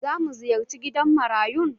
Za mu ziyarce gidan marayun?